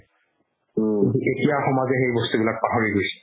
কিন্তু এতিয়াৰ সমাজে সেই বস্তুবিলাক পাহৰি গৈছে